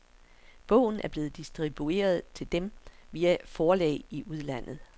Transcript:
Bogen er blevet distribueret til dem via forlag i udlandet.